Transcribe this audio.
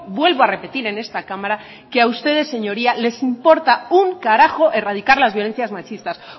vuelvo a repetir en esta cámara que a ustedes señorías les importa un carajo erradicar las violencias machistas